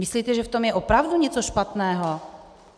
Myslíte, že v tom je opravdu něco špatného?